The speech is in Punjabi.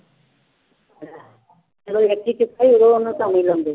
ਉਦੋਂ ਉਹਨੂੰ ਲਾਉਂਦੇ